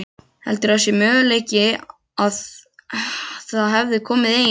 Heldurðu að það sé möguleiki að það hefði komið ein